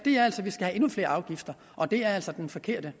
vi skal have endnu flere afgifter og det er altså den forkerte